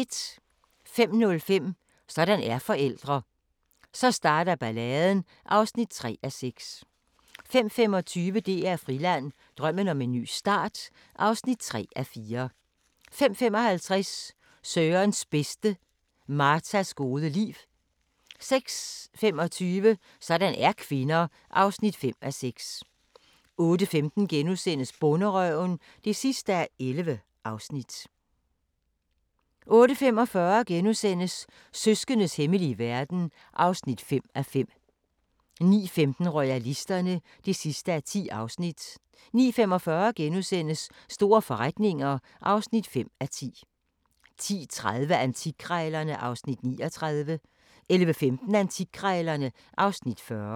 05:05: Sådan er forældre – Så starter balladen (3:6) 05:25: DR Friland: Drømmen om en ny start (3:4) 05:55: Sørens bedste: Martas gode liv 06:25: Sådan er kvinder (5:6) 08:15: Bonderøven (11:11)* 08:45: Søskendes hemmelige verden (5:5)* 09:15: Royalisterne (10:10) 09:45: Store forretninger (5:10)* 10:30: Antikkrejlerne (Afs. 39) 11:15: Antikkrejlerne (Afs. 40)